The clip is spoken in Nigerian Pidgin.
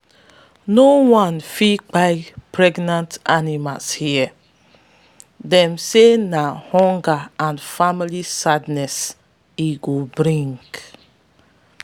no one fit kpai pregnant animals here - dey say na hunger and family sadness e go bring.